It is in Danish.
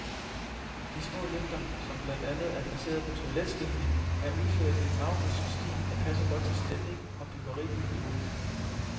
De små lygter, som blandt andet er placeret på toiletskiltningen, er udført i en maurisk stil, der passer godt til stemning og byggeri i øvrigt.